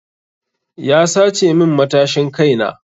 Ya sace min matashin kai na.